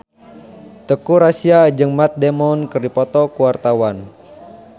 Teuku Rassya jeung Matt Damon keur dipoto ku wartawan